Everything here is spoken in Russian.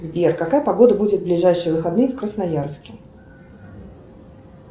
сбер какая погода будет в ближайшие выходные в красноярске